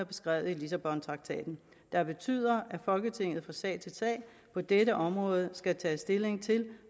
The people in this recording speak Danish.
beskrevet i lissabontraktaten der betyder at folketinget fra sag til sag på dette område skal tage stilling til